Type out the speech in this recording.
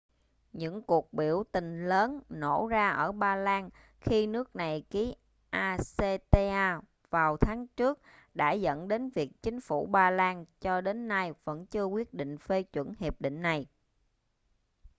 những cuộc biểu tình lớn nổ ra ở ba lan khi nước này ký acta vào tháng trước đã dẫn đến việc chính phủ ba lan cho đến nay vẫn chưa quyết định phê chuẩn hiệp định này